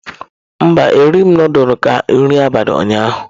Mba, erighị m nudulu ka nri abalị ụnyaahụ.